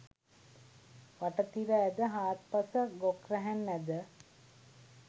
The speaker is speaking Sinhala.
වට තිර ඇද, හාත්පස ගොක් රැහැන් ඇද